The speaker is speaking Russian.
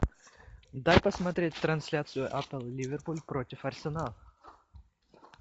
дай посмотреть трансляцию апл ливерпуль против арсенала